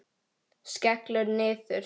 Skellur niður.